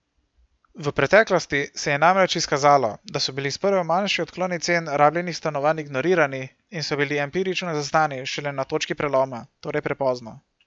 V preteklosti se je namreč izkazalo, da so bili sprva manjši odkloni cen rabljenih stanovanj ignorirani in so bili empirično zaznani šele na točki preloma, torej prepozno.